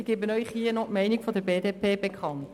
Ich gebe Ihnen hier noch die Meinung der BDP bekannt: